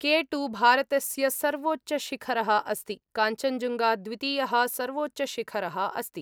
K2 भारतस्य सर्वोच्चशिखरः अस्ति, काञ्चञ्जुङ्गा द्वितीयः सर्वोच्चशिखरः अस्ति।